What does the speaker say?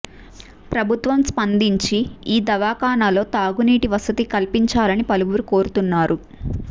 ప్రభుత్వం స్పందించి ఈ దవాఖానాలో తాగునీటి వసతి కల్పించాలని పలువురు కోరుతున్నారు